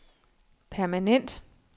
permanent